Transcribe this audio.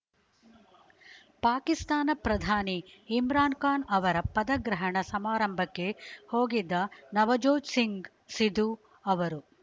ಪಾಕಿಸ್ತಾನ ಪ್ರಧಾನಿ ಇಮ್ರಾನ್‌ ಖಾನ್‌ ಅವರ ಪದಗ್ರಹಣ ಸಮಾರಂಭಕ್ಕೆ ಹೋಗಿದ್ದ ನವಜೋತ್‌ ಸಿಂಗ್‌ ಸಿಧು ಅವರು